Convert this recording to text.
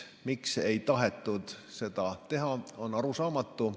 Miks ei tahetud seda teha varem, on arusaamatu.